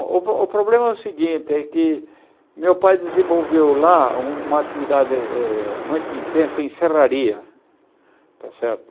O o problema é o seguinte, é que meu pai desenvolveu lá uma atividade eh eh muito intensa em Serraria, tá certo?